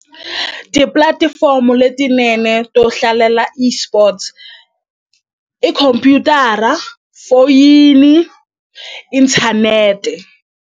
Tipulatifomo letinene to hlalela esports i khompyutara foyini inthanete.